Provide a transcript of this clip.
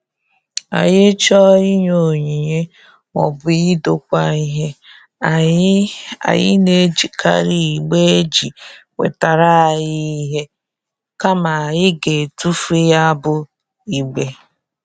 Anyị chọọ inye onyinye maọbụ idokwa ihe, anyị anyị na-ejikari igbe eji wetara anyị ihe kama anyị ga-etufu ya bụ igbe.